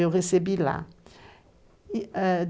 Eu recebi lá. E, eh,